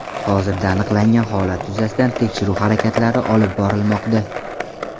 Hozirda aniqlangan holat yuzasidan tekshiruv harakatlari olib borilmoqda.